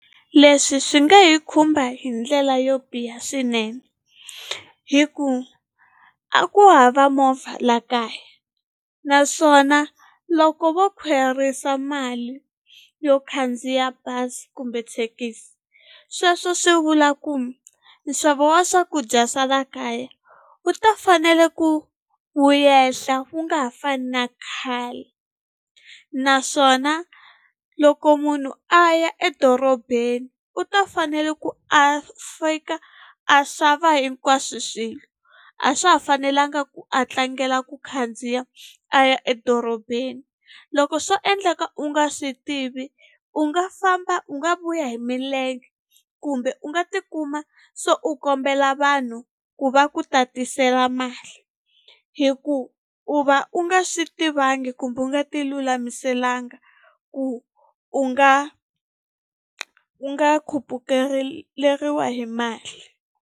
Leswi swi nga hi khumba hi ndlela yo biha swinene hi ku a ku hava movha la kaya naswona loko vo khwerisa mali yo khandziya bazi kumbe thekisi sweswo swi vula ku nxavo wa swakudya swa la kaya wu ta fanele ku wu yehla wu nga ha fani na khale naswona loko munhu a ya edorobeni u ta fanele ku a a xava hinkwaswo swilo a swa ha fanelanga ku a tlangela ku khandziya a ya edorobeni loko swo endleka u nga swi tivi u nga famba u nga vuya hi milenge kumbe u nga tikuma se u kombela vanhu ku va ku tatisela mali hi ku u va u nga swi tivangi kumbe u nga ti lulamiselanga ku u nga u nga hi mali.